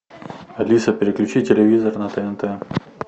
алиса переключи телевизор на тнт